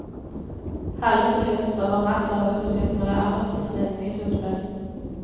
Hallene finnes overalt og er utstyrt med det aller siste innen videospill.